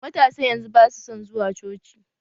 Matasan yanzu basu son zuwa coci